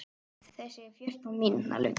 Þessi er fjórtán mínútna löng.